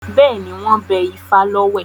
Bẹ́ẹ̀ni, wọ́n bẹ ifá lọ́wẹ̀.